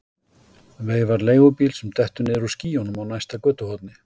Veifar leigubíl sem dettur niður úr skýjunum á næsta götuhorni.